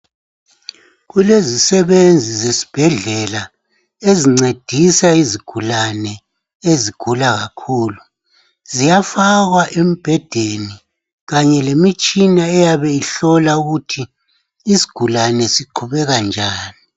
Kulezi sebenzi zesibhedlela ezincedisa izigulane ezigula kakhulu. Ziyafakwa embhedeni kanye lemitshina eyabe ihlola ukuthi isigulane siqhubeka njani.